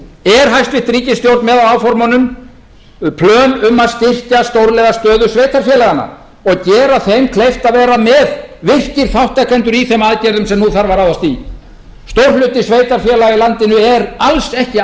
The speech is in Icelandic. er hæstvirt ríkisstjórn með áformunum með plön um að styrkja stórlega stöðu sveitarfélaganna og gera þeim kleift að vera með virkir þátttakendur í þeim aðgerðum sem nú þarf að ráðast í stór hluti sveitarfélaga í landinu er alls ekki